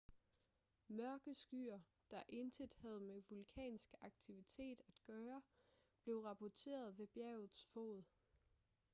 mørke skyer der intet havde med vulkansk aktivitet at gøre blev rapporteret ved bjergets fod